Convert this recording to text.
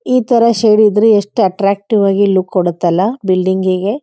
ಈ ಥರ ಶೇಡ್ ಇದ್ರೆ ಎಷ್ಟು ಅಟ್ರಾಕ್ಟಿವ್ ಆಗಿ ಲುಕ್ ಕೊಡತ್ತಲ್ಲಾ ಬಿಲ್ಡಿಂಗ್ ಗೆ.